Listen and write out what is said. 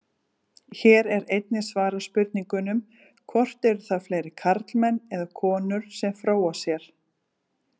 Hér er einnig svarað spurningunum: Hvort eru það fleiri karlmenn eða konur sem fróa sér?